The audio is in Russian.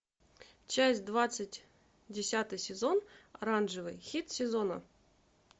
часть двадцать десятый сезон оранжевый хит сезона